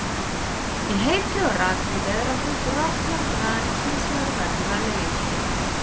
Í heitri og rakri veðráttu grotnar granít hins vegar og verður að leir.